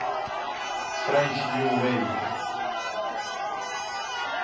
french new wave